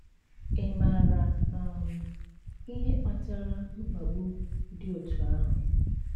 Ị maara um ihe kpatara mkpagbu dị otú ahụ?